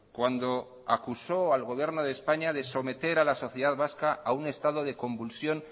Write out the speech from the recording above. cuando acusó al gobierno de españa de someter a la sociedad vasca a un estado de convulsión